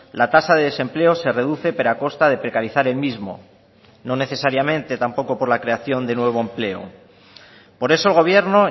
la tasa de desempleo se reduce pero a costa de precarizar el mismo no necesariamente tampoco por la creación de nuevo empleo por eso el gobierno